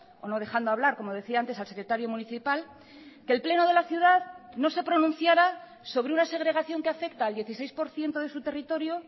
o no dejando hablar como decía antes al secretario municipal que el pleno de la ciudad no se pronunciara sobre una segregación que afecta al dieciséis por ciento de su territorio